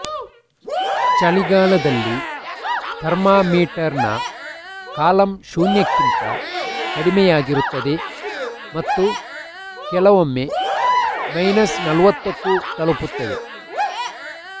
ಚಳಿಗಾಲದಲ್ಲಿ ಥರ್ಮಾಮೀಟರ್ನ ಕಾಲಮ್ ಶೂನ್ಯಕ್ಕಿಂತ ಕಡಿಮೆಯಾಗಿರುತ್ತದೆ ಮತ್ತು ಕೆಲವೊಮ್ಮೆ ಮೈನಸ್ ನಲವತ್ತಕ್ಕೂ ತಲುಪುತ್ತದೆ